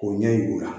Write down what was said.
K'o ɲɛ yir'u la